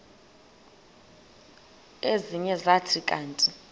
ezinye zathi kanti